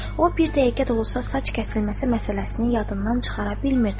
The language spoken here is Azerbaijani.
O bir dəqiqə də olsa saç kəsilməsi məsələsini yadından çıxara bilmirdi.